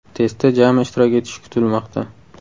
Testda jami ishtirok etishi kutilmoqda.